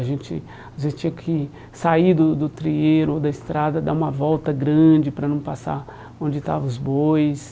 A gente as vezes tinha que sair do do trieiro ou da estrada, dar uma volta grande para não passar onde estavam os bois.